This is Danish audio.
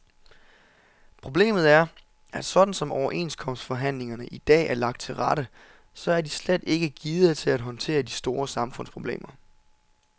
Problemet er, at sådan som overenskomstforhandlingerne i dag er lagt til rette, så er de slet ikke gearet til at håndtere de store samfundsproblemer.